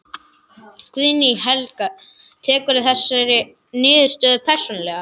Guðný Helga: Tekurðu þessa niðurstöðu persónulega?